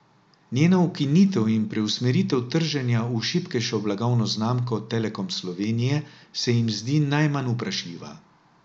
Njena ukinitev in preusmeritev trženja v šibkejšo blagovno znamko Telekom Slovenije se jim zdi najmanj vprašljiva.